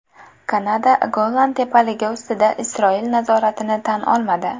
Kanada Golan tepaligi ustidan Isroil nazoratini tan olmadi.